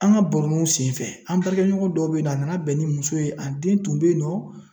An ka baronuw senfɛ an ɲɔgɔn dɔw be yen nɔ, a nana bɛn ni musow ye,a den tun bɛ yen nɔ